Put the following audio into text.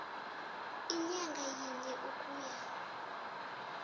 inyanga yinye ukuya